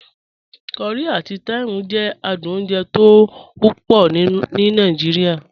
Curry ati thyme jẹ àdùn ọ̀unjè tọ wọpọ ní Nàìjíríà.